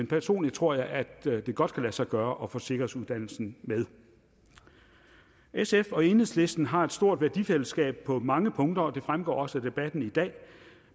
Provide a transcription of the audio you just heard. personligt tror jeg at det godt kan lade sig gøre at få sikkerhedsuddannelsen med sf og enhedslisten har et stort værdifællesskab på mange punkter og det fremgår også af debatten i dag